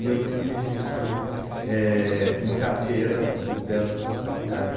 E eu tenho registro, eh, em carteira de dessas duas faculdades.